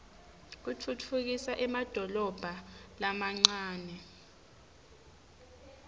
utfutfukisa emadolobha lamancane